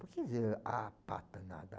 Por que dizer ah, pata nada?